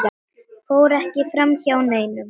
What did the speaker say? fór ekki framhjá neinum.